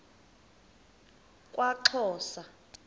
kwaxhosa